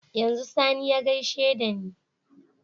Yanzu sani ya gaishe dani